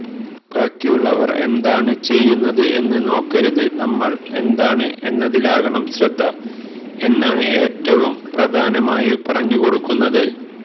ബാക്കിയുള്ളവർ എന്താണ് ചെയ്യുന്നത് എന്ന് നോക്കരുത് നമ്മൾ എന്താണ് എന്നതിലാകണം ശ്രദ്ധ എന്നാണ് ഏറ്റവും പ്രധാനമായും പറഞ്ഞു കൊടുക്കുന്നത്